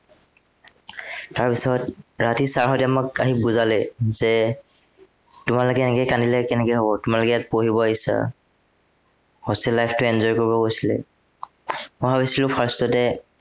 তাৰ পিছত ৰাতি sir হঁতে আহি আমাক বুজালে যে তোমালোকে এনেকে কান্দিলে কেনেকে হ'ব, তোমালোকে ইয়াত পঢ়িব আহিছা hostel life টো enjoy কৰিব কৈছিলে। মই ভাবিছিলো first তে